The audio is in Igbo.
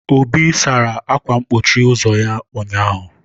Obi sara akwa mkpochi ụzọ ya ụnyaahụ.